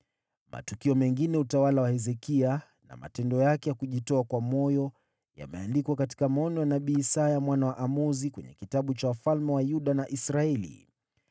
Matukio mengine ya utawala wa Hezekia na matendo yake ya kujitoa kwa moyo yameandikwa katika maono ya nabii Isaya mwana wa Amozi kwenye kitabu cha wafalme wa Yuda na Israeli.